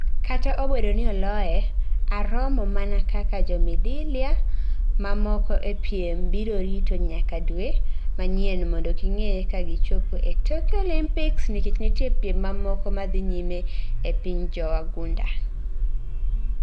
Kata obedo ni oloye, Aromo mana kaka jomidila mamoko ee piem biro rito nyaka dwe manyien mondo ging'ee ka gichopo ee Tokyo Olympics nikech nitie piem mamoko madhi nyime epiny jowagunda